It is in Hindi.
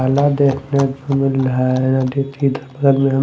देखने को मिल रहा है।